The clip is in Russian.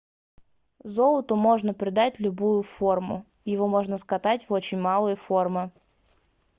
золоту можно придать любую форму. его можно cкатать в очень малые формы